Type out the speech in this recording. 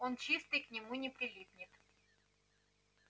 он чистый к нему не прилипнет